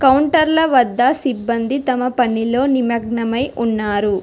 కౌంటర్ల వద్ద సిబ్బంది తమ పనిలో నిమగ్నమై ఉన్నారు.